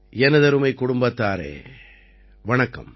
எனதருமை குடும்பத்தாரே வணக்கம்